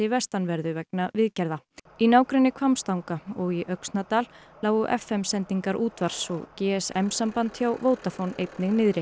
vestanverðu vegna viðgerða í nágrenni Hvammstanga og í Öxnadal lágu f m sendingar útvarps og g s m samband hjá Vodafone einnig niðri